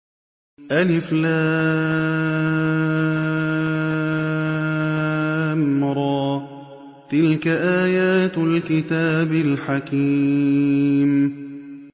الر ۚ تِلْكَ آيَاتُ الْكِتَابِ الْحَكِيمِ